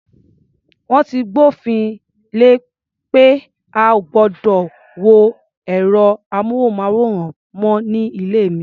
Wọ́n ti gbófin le pé a ò gbọdọ̀ wo ẹ̀rọ-amóhùnmáwòrán mọ́ ní ilé mi.